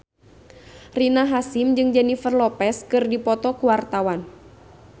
Rina Hasyim jeung Jennifer Lopez keur dipoto ku wartawan